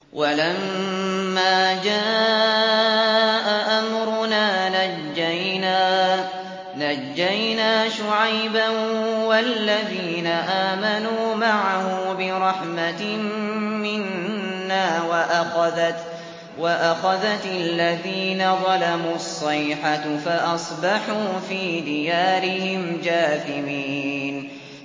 وَلَمَّا جَاءَ أَمْرُنَا نَجَّيْنَا شُعَيْبًا وَالَّذِينَ آمَنُوا مَعَهُ بِرَحْمَةٍ مِّنَّا وَأَخَذَتِ الَّذِينَ ظَلَمُوا الصَّيْحَةُ فَأَصْبَحُوا فِي دِيَارِهِمْ جَاثِمِينَ